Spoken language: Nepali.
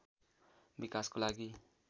विकासको लागि